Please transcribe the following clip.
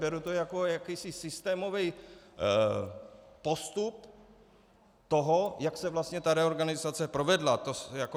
Beru to jako jakýsi systémový postup toho, jak se vlastně ta reorganizace provedla.